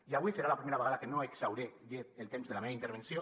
i avui serà la primera vegada que no exhauriré el temps de la meva intervenció